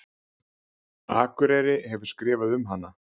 Akureyri hefur skrifað um hana.